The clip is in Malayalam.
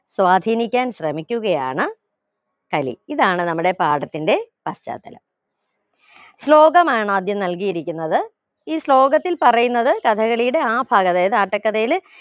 സ്വാധീനിക്കാൻ ശ്രമിക്കുകയാണ് കലി ഇതാണ് നമ്മുടെ പാഠത്തിന്റെ പശ്ചാത്തലം ശ്ലോകമാണ് ആദ്യം നൽകിയിരിക്കുന്നത് ഈ ശ്ലോകത്തിൽ പറയുന്നത് കഥകളിയുടെ ആ ഭാഗതെയാ അതായത് ആട്ടക്കഥയില്